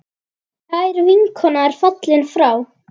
Kær vinkona er fallin frá.